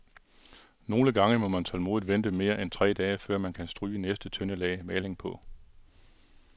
Nogle gange må man tålmodigt vente mere end tre dage, før man kan stryge næste tynde lag maling på.